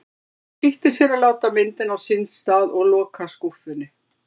Lóa-Lóa flýtti sér að láta myndina á sinn stað og loka skúffunni.